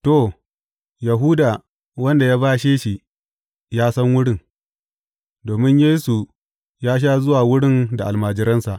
To, Yahuda, wanda ya bashe shi, ya san wurin, domin Yesu ya sha zuwa wurin da almajiransa.